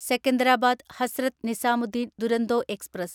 Secunderabad Hazrat Nizamuddin Duronto express